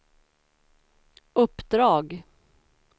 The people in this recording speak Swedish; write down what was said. uppdrag